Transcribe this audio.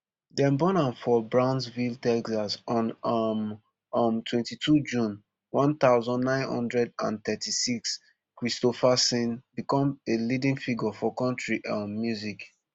dem born am for brownsville texas on um um twenty-two june one thousand, nine hundred and thirty-six kristofferson become a leading figure for country um music